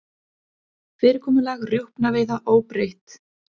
Fyrirkomulag rjúpnaveiða óbreytt